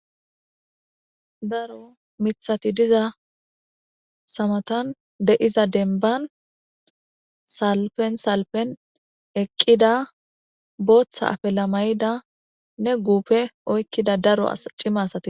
Daaro miththati diizaysa matan diza dembban salpen salpen eqida booththa afilla mayidanne guufe oyqqida daro cimma asati bettes.